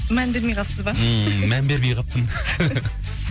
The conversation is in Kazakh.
мән бермей қалыпсыз ба ммм мән бермей қалыппын